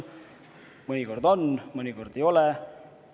Mõnikord on, mõnikord ei ole.